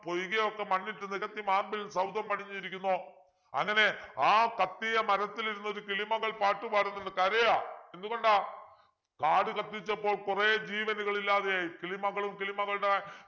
പൊയ്കയൊക്കെ മണ്ണിട്ട് നികത്തി marble സൗധം പണിഞ്ഞിരിക്കുന്നു അങ്ങനെ ആ കത്തിയ മരത്തിലിരുന്ന് ഒരു കിളിമകൾ പാട്ടുപാടുന്നുണ്ട് കരയാ എന്തുകൊണ്ടാ കാടു കത്തിച്ചപ്പോൾ കുറെ ജീവനുകൾ ഇല്ലാതെയായി കിളിമകളും കിളിമകളുടെ